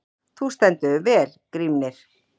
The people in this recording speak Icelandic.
Þú stendur þig vel, Grímnir!